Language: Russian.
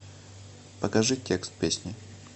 покажи текст песни